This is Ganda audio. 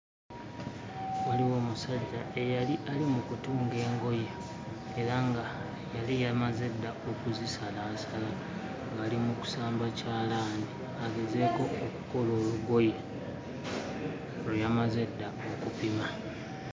Waliwo omusajja eyali ali mu kutunga engoye era nga yali yamaze dda okuzisalaasala ng'ali mu kusamba kyalaani agezeeko okukola olugoye lwe yamaze edda okupima.